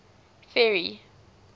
ferry